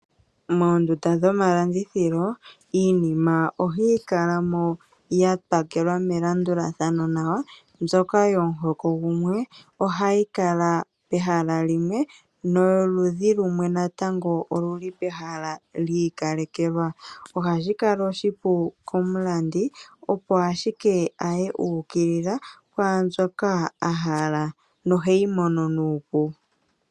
Moondunda dhomalandithilo iinima ohayi kala mo ya pakelwa melandulathano nawa. Mbyoka yomuhoko gumwe ohayi kala peha limwe, no yoludhi lumwe natango olu li pehala li ikalekelwa. Ohashi kala oshipu komulandi opo ashike aye a ukilila kwaambyoka a hala noheyi mono nuupu.